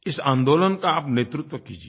इस आंदोलन का आप नेतृत्व कीजिए